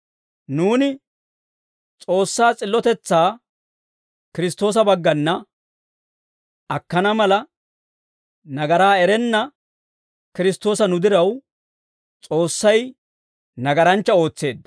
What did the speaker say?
Nuuni S'oossaa s'illotetsaa Kiristtoosa baggana akkana mala, nagaraa erenna Kiristtoosa nu diraw, S'oossay nagaranchcha ootseedda.